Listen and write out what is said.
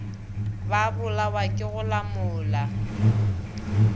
ba bolawa ke go lamola